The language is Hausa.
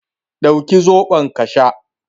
Dauki zaɓon ka sha